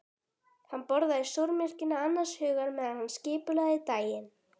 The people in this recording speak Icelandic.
Hann borðaði súrmjólkina annars hugar meðan hann skipulagði daginn.